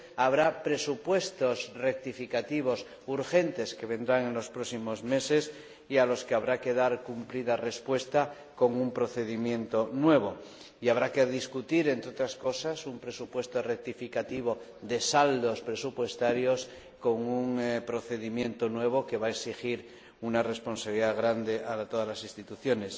habrá presupuestos rectificativos urgentes que llegarán en los próximos meses y a los que habrá que dar cumplida respuesta con un procedimiento nuevo y habrá que debatir, entre otras cosas, un presupuesto rectificativo de saldos presupuestarios con un procedimiento nuevo que va a exigir una gran responsabilidad a todas las instituciones.